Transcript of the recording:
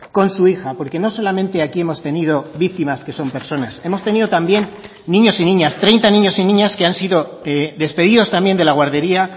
con su hija porque no solamente aquí hemos tenido víctimas que son personas hemos tenido también niños y niñas treinta niños y niñas que han sido despedidos también de la guardería